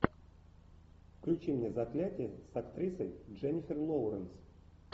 включи мне заклятие с актрисой дженнифер лоуренс